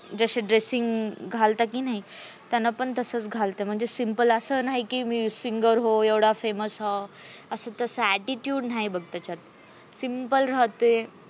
जसा dressing घालत की नाही. त्यांना पण तसंच घालते त्यांना पण तसच घालते. म्हणजे simple अस नाही की मी singer हो एवढा famous हो attitude नाही बघ त्याच्यात simple राहते.